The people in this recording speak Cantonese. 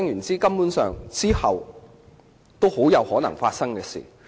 "這是很有可能發生的事。